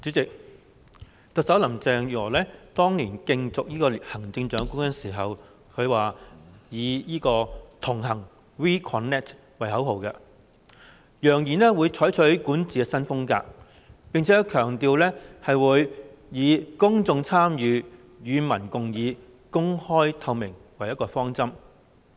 主席，特首林鄭月娥當年競選行政長官時，以"同行 We Connect" 為口號，揚言會採取管治新風格，並且強調會以公眾參與、與民共議、公開透明為方針。